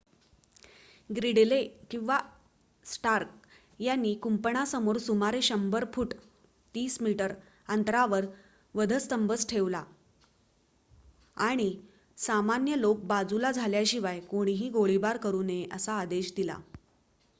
ग्रिडले किंवा स्टार्क यांनी कुंपणासमोर सुमारे १०० फूट ३० मी अंतरावर वधस्तंभ ठेवला आणि सामान्य लोक बाजूला झाल्याशिवाय कोणीही गोळीबार करू नये असा आदेश दिला